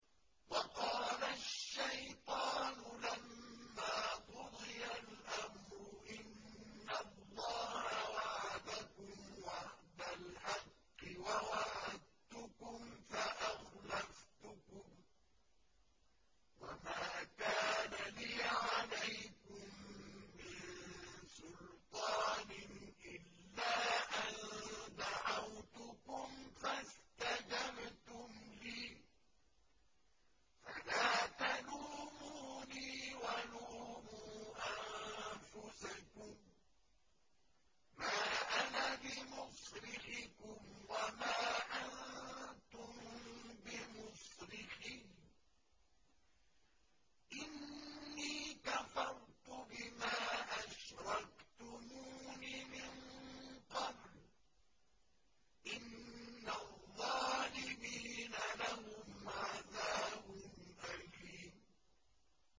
وَقَالَ الشَّيْطَانُ لَمَّا قُضِيَ الْأَمْرُ إِنَّ اللَّهَ وَعَدَكُمْ وَعْدَ الْحَقِّ وَوَعَدتُّكُمْ فَأَخْلَفْتُكُمْ ۖ وَمَا كَانَ لِيَ عَلَيْكُم مِّن سُلْطَانٍ إِلَّا أَن دَعَوْتُكُمْ فَاسْتَجَبْتُمْ لِي ۖ فَلَا تَلُومُونِي وَلُومُوا أَنفُسَكُم ۖ مَّا أَنَا بِمُصْرِخِكُمْ وَمَا أَنتُم بِمُصْرِخِيَّ ۖ إِنِّي كَفَرْتُ بِمَا أَشْرَكْتُمُونِ مِن قَبْلُ ۗ إِنَّ الظَّالِمِينَ لَهُمْ عَذَابٌ أَلِيمٌ